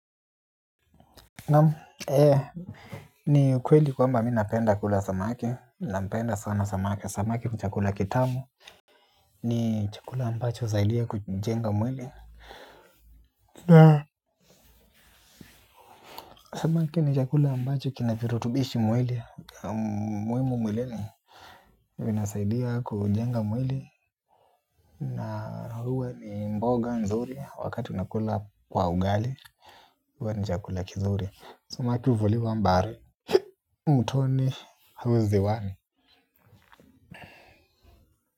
Na ee ni ukweli kwamba mi napenda kula samaki nampenda sana samaki samaki ni chakula kitamu. Ni chakula ambacho husaidia kujenga mwili. Samaki ni chakula ambacho kina virutubishi mwili muhimu mwilini vinasaidia kujenga mwili na huwa ni mboga nzuri wakati unakula kwa ugali. Huwa ni chakula kizuri samaki huvuliwa baharini mtoni au ziwani.